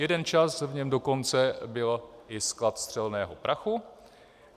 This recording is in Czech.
Jeden čas v něm dokonce byl i sklad střelného prachu.